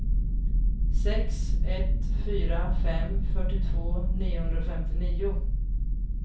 sex ett fyra fem fyrtiotvå niohundrafemtionio